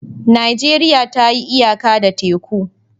Najeriya ta yi iyaka da teku.